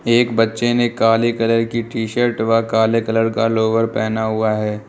एक बच्चे ने काले कलर की टी शर्ट व काले कलर का लोअर पहना हुआ है।